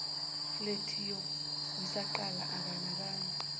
flethi kusaqala akanakanga